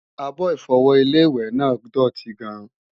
Àbo-Ìfọwọ́ Ilé-ìwẹ̀ náà dòtí gan-an